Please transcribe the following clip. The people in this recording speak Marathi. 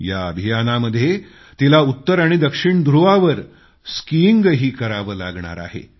या अभियानामध्ये तिला उत्तर आणि दक्षिण ध्रुवावर स्किईंगही करावं लागणार आहे